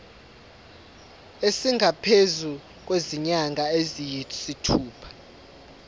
esingaphezu kwezinyanga eziyisithupha